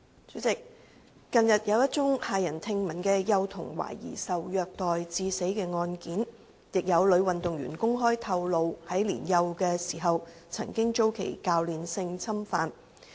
主席，近日，有一宗駭人聽聞的幼童懷疑受虐待致死案件，亦有女運動員公開透露於年幼時曾遭其教練性侵犯。